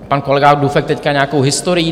Pan kolega Dufek teď nějakou historií.